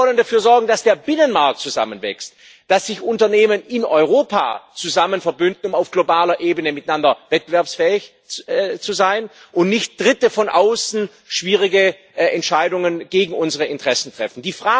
Wir wollen dafür sorgen, dass der Binnenmarkt zusammenwächst, dass sich Unternehmen in Europa verbünden, um auf globaler Ebene miteinander wettbewerbsfähig zu sein, und nicht Dritte von außen schwierige Entscheidungen gegen unsere Interessen treffen.